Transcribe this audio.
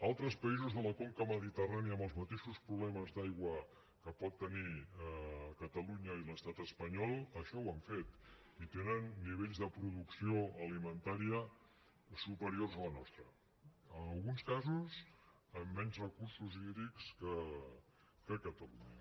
altres països de la conca mediterrània amb els mateixos problemes d’aigua que poden tenir catalunya i l’estat espanyol això ho han fet i tenen nivells de producció alimentària superiors a la nostra en alguns casos amb menys recursos hídrics que catalunya